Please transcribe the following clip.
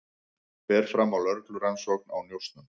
Fer fram á lögreglurannsókn á njósnum